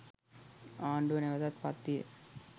ආණ්ඩුව නැවතත් පත්විය.